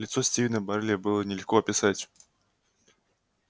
лицо стивена байерли было бы нелегко описать